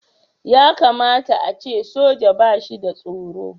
Ya kamata a ce soja ba shi da tsoro.